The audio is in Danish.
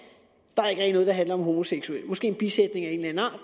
er jo i der handler om homoseksuelle måske i en bisætning af en eller